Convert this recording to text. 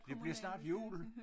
Det bliver snart jul